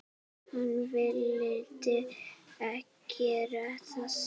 Hann vildi gera það.